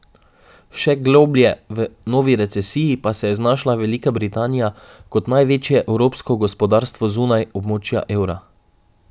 Še globlje v novi recesiji pa se je znašla Velika Britanija kot največje evropsko gospodarstvo zunaj območja evra.